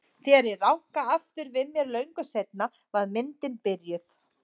Þegar ég rankaði aftur við mér löngu seinna var myndin byrjuð.